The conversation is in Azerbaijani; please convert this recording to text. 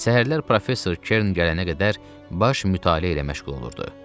Səhərlər professor Kern gələnə qədər baş mütaliə ilə məşğul olurdu.